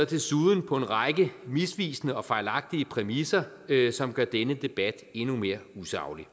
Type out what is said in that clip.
desuden på en række misvisende og fejlagtige præmisser som gør denne debat endnu mere usaglig